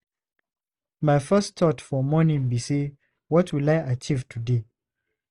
My first thought for morning be say "what will I achieve today?"